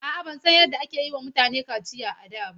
A'a, ban san yadda ake yiwa mutane kaciya a da ba.